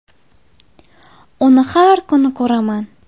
Uni har kuni ko‘raman.